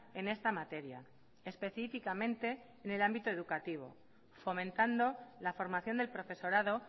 en esta materia específicamente en el ámbito educativo fomentando la formación del profesorado